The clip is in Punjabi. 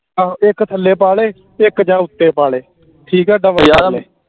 ਹਾਂ ਇਕ ਥੱਲੇ ਪਾ ਲੇ ਤੇ ਜਾ ਇਕ ਉਤੇ ਪਾ ਲੇ ਠੀਕ ਆ ਇਹਦਾ